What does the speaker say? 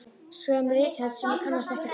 Skrifað með rithönd sem ég kannast ekkert við